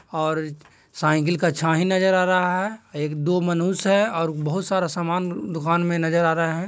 ओर cycle का छाई नजर आ रहा है एक दो मुनस्य है और बहुत सारा समान दुकान मे नजर आ रहा है।